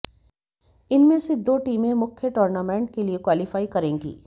इनमें से दो टीमें मुख्य टूर्नामेंट के लिए क्वालीफाई करेंगी